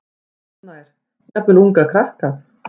Rúnar Snær: Jafnvel unga krakka?